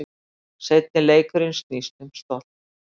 Seinni leikurinn snýst um stolt